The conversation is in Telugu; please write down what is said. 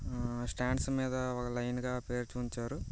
స్టాండ్స్ మీద లైన్ గా పేర్చి ఉంచారు.